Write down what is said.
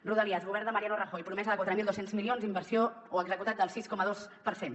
rodalies govern de mariano rajoy promesa de quatre mil dos cents milions inversió o executat del sis coma dos per cent